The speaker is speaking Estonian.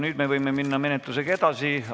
Nüüd me võime minna menetlusega edasi.